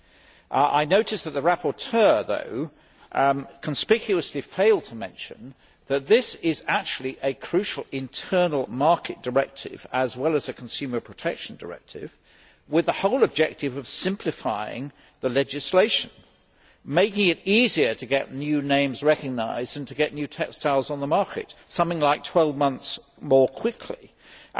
However, I notice that the rapporteur conspicuously failed to mention that this is actually a crucial internal market directive as well as a consumer protection directive, with the whole objective of simplifying the legislation, making it easier to get new names recognised and to get new textiles on the market something like 12 months more quickly and